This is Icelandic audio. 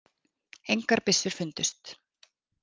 Engar byssur fundust